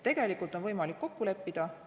Tegelikult on võimalik kokku leppida.